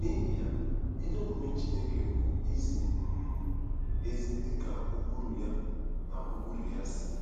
N’ihi ya, ezi omume Chineke bụ izi um ezi dị ka ụkpụrụ ya na ụkpụrụ ya si